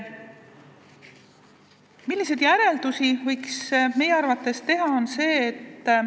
Milliseid järeldusi võiks meie arvates teha?